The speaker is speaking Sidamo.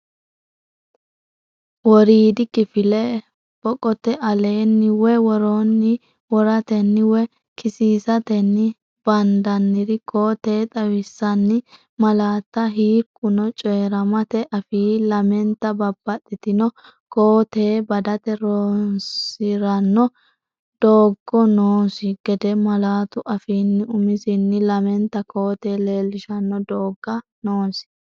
woriidi kifile(boqote aleenni woy woroonni)woratenni woy kisiisatenni bandanniri koo-tee xawissan- malaatta Hiikkuno coyi’rammete afii lamenta babbaxxitino koo-tee badate roonsi’ranno doogga noosi gede malaatu afiino umisinni lamenta koo- tee leellishanno doogga noosi.